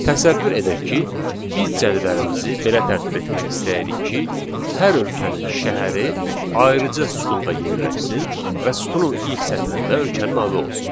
Təsəvvür edək ki, biz cədvəlimizi belə tərtib etmək istəyirik ki, hər ölkənin şəhəri ayrıca sütunda yerləşsin və sütunun ilk sətrində ölkənin adı olsun.